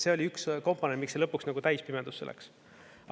See oli üks komponent, miks see lõpuks täispimedusse läks.